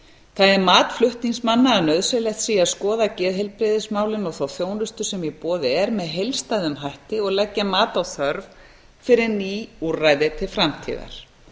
það er mat flutningsmanna að nauðsynlegt sé að skoða geðheilbrigðismálin og þá þjónustu sem í boði er með heildstæðum hætti og leggja mat á þörf fyrir ný úrræði til framtíðar